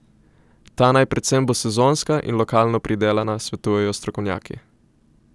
Ta naj predvsem bo sezonska in lokalno pridelana, svetujejo strokovnjaki.